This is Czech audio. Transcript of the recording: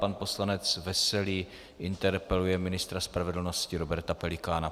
Pan poslanec Veselý interpeluje ministra spravedlnosti Roberta Pelikána.